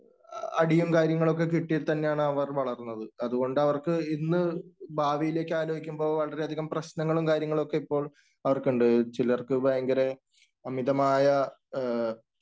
അടിയും, കാര്യങ്ങളും ഒക്കെ കിട്ടി തന്നെയാണ് അവർ വളർന്നത്. അതുകൊണ്ട് അവർക്കു ഇന്ന് ഭാവിയിലേക്ക് ആലോചിക്കുമ്പോൾ വളരെയധികം പ്രശ്‌നങ്ങളും, കാര്യങ്ങളും ഒക്കെ ഇപ്പോൾ അവർക്കുണ്ട്. ചിലർക്ക് ഭയങ്കര അമിതമായ